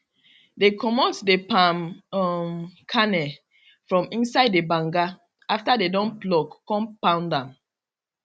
dey comot the palm um kernel from inside the banga after dey don pluck con pound am